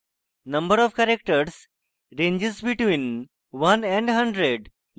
number of characters ranges between one and hundred